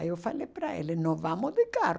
Aí eu falei para ele, nós vamos de carro.